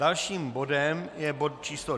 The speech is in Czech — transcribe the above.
Dalším bodem je bod číslo